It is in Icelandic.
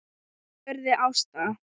spurði Ásta.